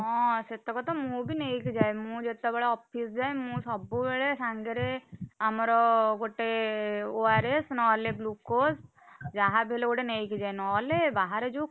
ହଁ ସେତକ ତ ମୁଁ ବି ନେଇକି ଯାଏ, ମୁଁ ଯେତବେଳେ office ଯାଏ ମୁଁ ସବୁବେଳେ ସାଙ୍ଗରେ ଆମର ଗୋଟେ, ORS ନହେଲେ Glucose ଯାହାବି ହେଲେ ଗୋଟେ ନେଇକି ଯାଏ। ନହେଲେ ବାହାରେ ଯୋଉ,